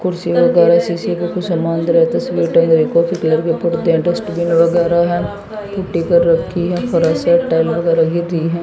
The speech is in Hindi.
कुर्सी वगैरा शीशे के कुछ समान वगैरा तस्वीर टंग रही कॉफी कलर के पर्दे हैं डस्टबिन वगैरह है रखी है फर्श है टाइल वगैरह गिर रही हैं।